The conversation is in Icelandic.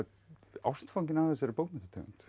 ástfanginn af þessari bókmenntategund